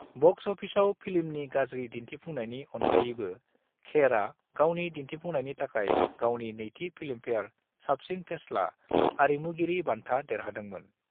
Box अफिसाव फिल्मनि गाज्रि दिन्थिफुंनायनि अनगायैबो खेरआ गावनि दिन्थिफुंनायनि थाखाय गावनि नैथि फिल्मफेयार साबसिन फेस्ला आरिमुगिरि बान्ता देरहादोंमोन।